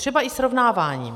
Třeba i srovnáváním.